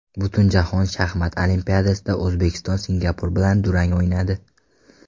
Butunjahon shaxmat olimpiadasida O‘zbekiston Singapur bilan durang o‘ynadi.